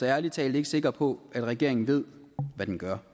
ærlig talt ikke sikker på at regeringen ved hvad den gør